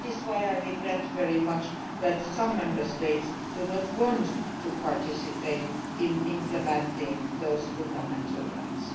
right. That is why I regret very much that some Member States do not want to participate in implementing these fundamental